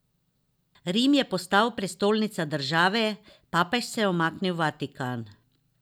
Rim je postal prestolnica države, papež se je umaknil v Vatikan.